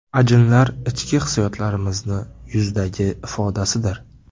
Ajinlar ichki hissiyotlarimizning yuzdagi ifodasidir.